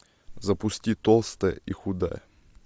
запусти толстая и худая